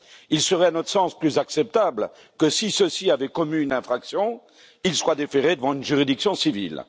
Il serait, à notre sens, plus acceptable que si ceux ci avaient commis une infraction, ils soient déférés devant une juridiction civile.